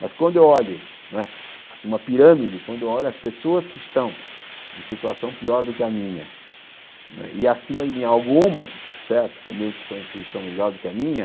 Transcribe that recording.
Mas quando eu olho, não é assim, uma pirâmide, quando eu olho as pessoas que estão em situação pior do que a minha, né e acima de mim algumas, certo, também que estão em posição melhor do que a minha,